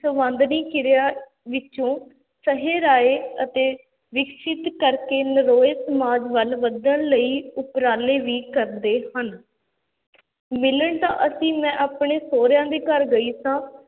ਸੰਵਾਦਨੀ ਕਿਰਿਆ ਵਿੱਚੋਂ ਸਹੀ ਰਾਇ ਅਤੇ ਵਿਕਸਿਤ ਕਰਕੇ ਨਰੋਏ ਸਮਾਜ ਵੱਲ ਵਧਣ ਲਈ ਉਪਰਾਲੇ ਵੀ ਕਰਦੇ ਹਨ ਮਿਲਣ ਤਾਂ ਅਸੀਂ ਮੈਂ ਆਪਣੇ ਸਹੁਰਿਆਂ ਦੇ ਘਰ ਗਈ ਸਾਂ